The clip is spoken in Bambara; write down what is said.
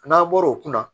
N'an bɔr'o kunna